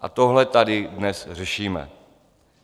A tohle tady dnes řešíme.